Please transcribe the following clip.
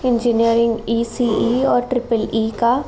Engineering ECE. और triple E का --